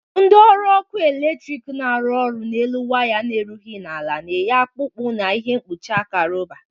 Ndị ọrụ ọkụ eletrik na-arụ ọrụ n'elu waya erughi ala na-eti akpụkpụ na ihe mkpụchị aka rọba.